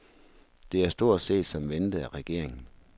Det er stort set som ventet af regeringen.